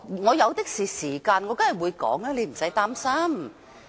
我有的是時間，我當然會說，用不着你擔心......